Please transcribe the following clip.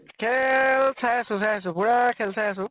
খেল চাই আছো চাই আছো । পুৰা খেল চাই আছো ।